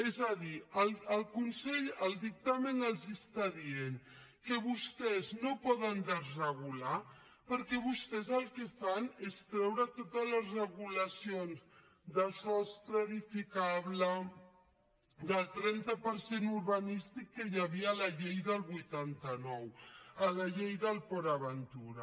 és a dir el consell al dictamen els està dient que vostès no poden desregular perquè vostès el que fan és treure totes les regulacions de sostre edificable del trenta per cent urbanístic que hi havia a la llei del vuitanta nou a la llei del port aventura